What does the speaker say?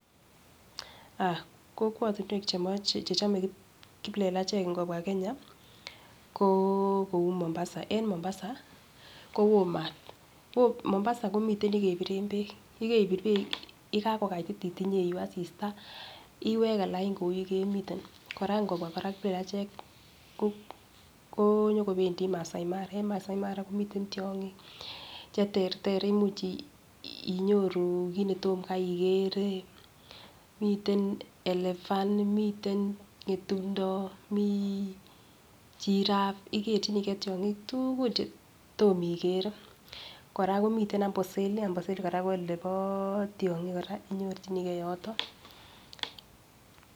Kokwotunwek chechomei kiplelachek ngopua Kenya ko kou Mombasa en Mombasa koyo maat ki Mombasa komiten yikepiren peek, yikepir peek yekakokaititit ipeu asista iweke line kou yukemiten kora ngopua parak kiplelachek ko nyokopendi Maasai Mara ko Maasai Mara komiten tiong'ik cheterter imuchei kiit netomkaigere miten elephant miten ng'etung'do mi giraffe ikerckhiniker tiong'ik tugul che tomikere kora komiten Amboseli ko Amboseli kora konepo tiong'ik kora inyorchinigei yoto